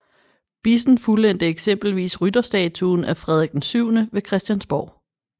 Bissen fuldendte eksempelvis rytterstatuen af Frederik VII ved Christiansborg